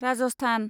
Rajasthan